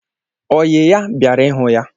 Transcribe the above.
Oyi ya bịara ịhụ ya